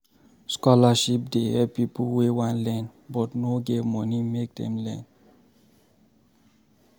Scholarship dey help pipo wey wan learn but no get money make Dem learn.